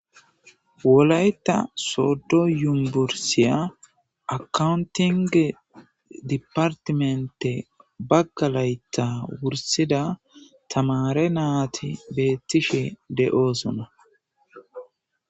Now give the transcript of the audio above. Wolayta soddo yumbursiya akawuntinge dipartimente bagga laytta wursida tamare naati beettishe de'osonna.